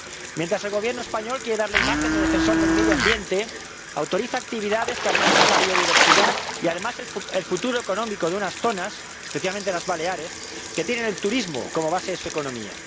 Mientras el Gobierno español quiere dar la imagen de defensor del medio ambiente, autoriza actividades que amenazan la biodiversidad y además el futuro económico de unas zonas, especialmente las Baleares, que tienen el turismo como base de su economía.